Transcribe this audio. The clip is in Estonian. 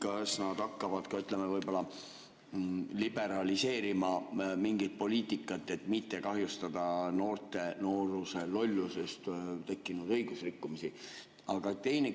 Kas nad hakkavad ka liberaliseerima mingit poliitikat, et mitte kahjustada noorte nooruse lollusest tekkinud õigusrikkumiste tõttu?